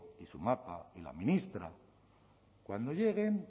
y su mapa y la ministra cuando lleguen